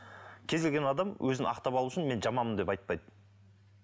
кез келген адам өзін ақтап алу үшін мен жаманмын деп айтпайды